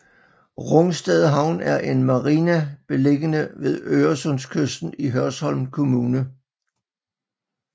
Rungsted Havn er en marina beliggende ved Øresundskysten i Hørsholm Kommune